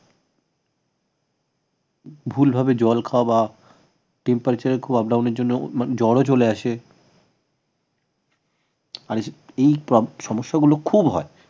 ভুলভাবে জল খাওয়া বা temperature এর খুব up down এর জন্য জ্বরও চলে আসে আর এই সমস্যাগুলো খুব হয়